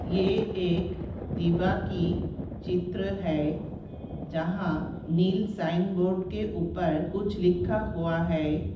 ये एक दिवा की चित्र है। जहाँ नील शाइन बोर्ड के ऊपर कुछ लिखा हुआ है।